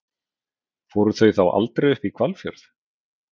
Fóru þau þá aldrei upp í Hvalfjörð?